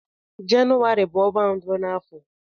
Jenụwarị bu onwa mbụ n'afọ.